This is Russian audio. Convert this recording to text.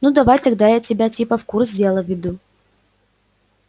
ну давай тогда я тебя типа в курс дела введу